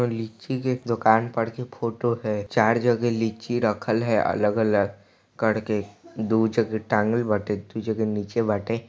--र लीची के दोकान पर के फोटो है चार जगह लीची रखल है अलग अलग करके दू जगह टांगल बाटे दू जगह निचे बाटे।